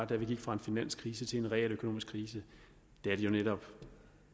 da vi gik fra en finanskrise til en realøkonomisk krise det er jo netop